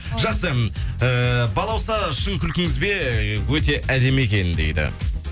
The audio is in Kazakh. жақсы эээ балауса шын күлкіңіз бе өте әдемі екен дейді